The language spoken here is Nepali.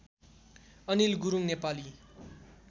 अनिल गुरुङ नेपाली